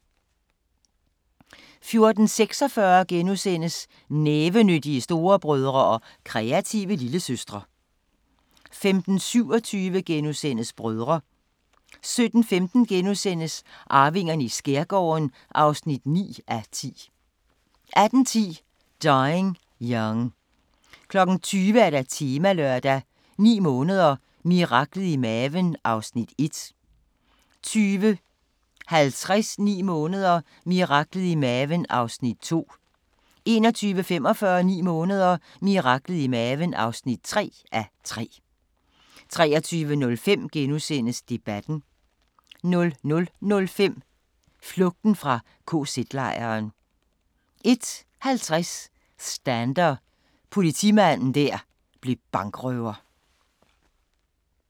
14:46: Nævenyttige storebrødre og kreative lillesøstre * 15:27: Brødre * 17:15: Arvingerne i skærgården (9:10)* 18:10: Dying Young 20:00: Temalørdag: 9 måneder – miraklet i maven (1:3) 20:50: 9 måneder – miraklet i maven (2:3) 21:45: 9 måneder – miraklet i maven (3:3) 23:05: Debatten * 00:05: Flugten fra kz-lejren 01:50: Stander – politimanden der blev bankrøver